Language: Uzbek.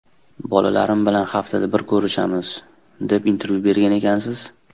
Bolalarim bilan haftada bir ko‘rishamiz, deb intervyu bergan ekansiz.